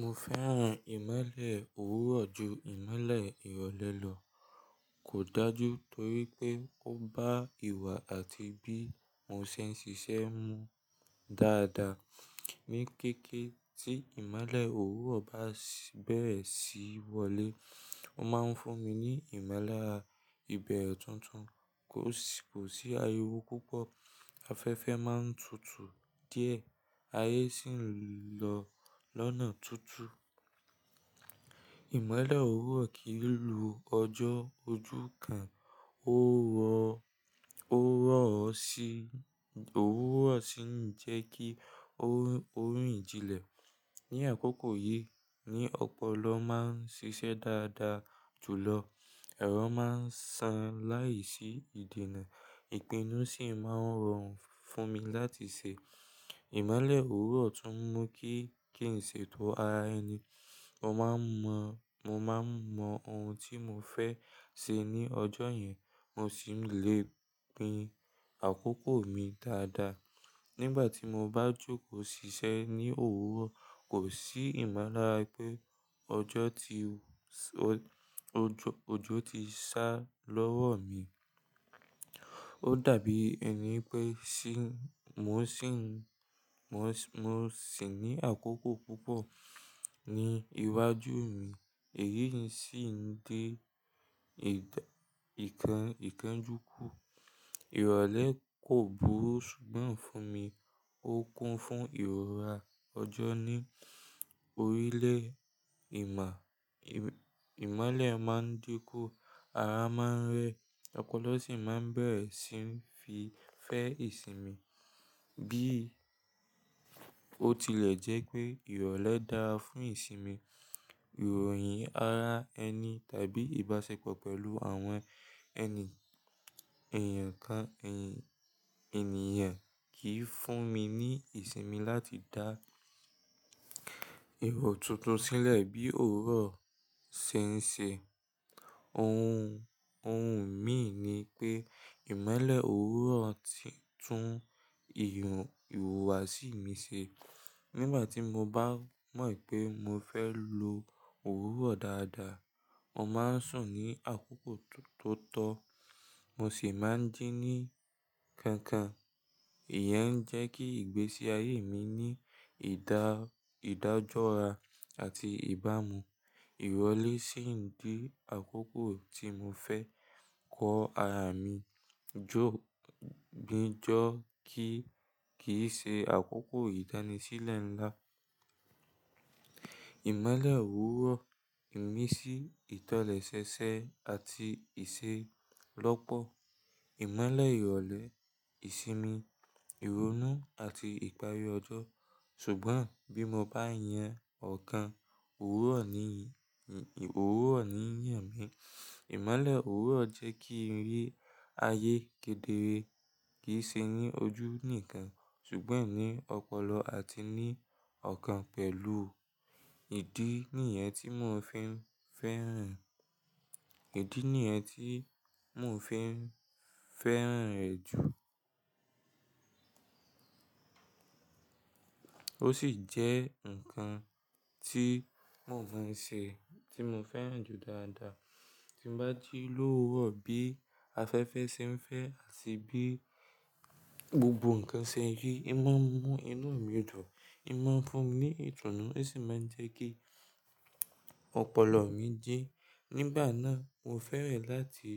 Mo fẹ́ràn ìmolẹ́ òwúrọ̀ ju ìmolẹ́ ìrọ̀lẹ́ lọ. Kò dájú torí pé ó bá ìwà àti bí mo ṣe ń ṣiṣẹ́ mu dáadáa. Ni kéékèé tí ìmolẹ́ òwúrọ̀ bá bẹ̀rẹ̀ sí í wọlé, ó máa ń fún mi ní ìmọ̀lára ìbẹ̀rẹ̀ tuntun, kò sí ayẹwo púpọ̀, afẹ́fẹ́ máa ń tutù díẹ̀, ayé sì ń lọ lónà tútù. Ìmolẹ́ òwúrọ̀ kìí lu ọjọ́ ojú kan, ó rọ̀ ọ́ sí ń jẹ́ kí orí ìjìnlẹ̀ ní àkókò yìí ní ọpọlọ máa ń ṣiṣẹ́ dáadáa jùlọ. Ẹ̀rọ máa ń san láìsí ìdènà, ìpinnu sì máa ń rọrùn fún mi láti ṣe. Ìmolẹ́ òwúrọ̀ tún mú kí n ṣe ètò ara ẹni. Mo maa mo Mo máa ń mọ ohun tí mo fẹ́ ṣe ní ọjọ́ yẹn, mo sì lè pín àkókò mi dáadáa. Nígbà tí mo bá jókòó ṣiṣẹ́ ní òwúrọ̀, kò sí ìmọ̀lára pé ọjọ́ ti sá lọ́wọ́ mi. Ó dàbí ẹni pé mo sì ní àkókò púpọ̀ ní iwájú mi, èyí sì ń dé ìkanjú kú. Ìrọ̀lẹ́ kò burú ṣùgbọ́n fún mi, ó kún fún ìrora. Ọjọ́ ní orílẹ̀ ìmọ̀lẹ̀ máa ń dínkù, ara máa ń rẹ, ọpọlọ sì máa ń bẹ̀rẹ̀ sí ń fi fẹ́ ìsinmi. Bí ó tilẹ̀ jẹ́ pé ìrọ̀lẹ́ dára fún ìsinmi, ìròyìn ara ẹni tàbí ìbáṣepọ̀ pẹ̀lú àwọn ènìyàn kan kì í fún mi ní ìsinmi láti dá ero tuntun sílẹ̀ bí òwúrọ̀ ṣe ń ṣe. Ohun mi ni pé ìmolẹ́ òwúrọ̀ ti tún ìhùwàsí mi ṣe. Nígbà tí mo bá mọ̀ pé mo fẹ́ lo òwúrọ̀ dáadáa, mo máa ń sùn ní àkókò tó tọ́, mo sì máa ń jí ní kankan. Ìyẹn ń jẹ́ kí ìgbésí ayé mi ní ìdájọ́ra àti ìbámu. Ìrọ̀lẹ́ sì ń dí àkókò tí mo fẹ́ kọ ara mi jó gbéjọ́ kí í ṣe àkókò ìdánisílẹ̀ ńlá. Ìmolẹ́ òwúrọ̀ ń imí sí ìtọ́lẹ̀ ṣẹ̀ṣẹ̀ àti ìṣe lọ́pọ̀. Ìmolẹ́ ìrọ̀lẹ́, ìsinmi, ìronú àti ìparí ọjọ́. Ṣùgbọ́n bí mo bá yan ọ̀kan, òwúrọ̀ ni ìyè mi. Ìmolẹ́ òwúrọ̀ jẹ́ kí n rí ayé kedere, kì í ṣe ní ojú nìkan ṣùgbọ́n ní ọpọlọ àti ní ọ̀kan pẹ̀lú. Ìdí nìyẹn tí mo fi ń feran fẹ́ràn rẹ̀ jù. Ó sì jẹ́ nǹkan tí mo fẹ́ran ju dáadáa. Tí mo bá ji lo òwúrọ̀ bí afẹ́fẹ́ ṣe ń fẹ́ àti bí gbogbo nǹkan ṣe ń rí, iná ń mú inú mi dùn, iná ń fún mi ní ìtùnú ó sì máa ń jẹ́ kí ọpọlọ mi jí. Nígbà náà mo fẹ́ràn láti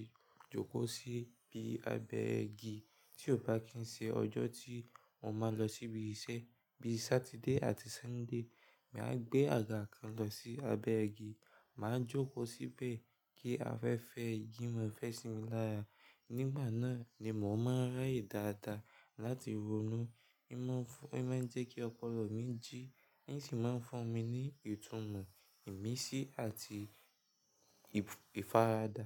jókòó sí ibi abẹ́ igi. Tí ò bá kí ń ṣe ọjọ́ tí mo máa lọ síbi iṣẹ́ bíi Saturday àti Sunday, màá gbé àga kan lọ sí abẹ́ igi, màá jókòó síbẹ̀ kí afẹ́fẹ́ igi má fẹ́ sí mi lára. Nígbà náà ni mò ń máa rí ìdáàda láti ronú, iná ń jẹ́ kí ọpọlọ mi jí ní sì ń fún mi ní ìtùnú, ìmísí àti ìfaradà.